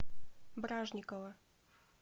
бражникова